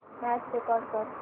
match record कर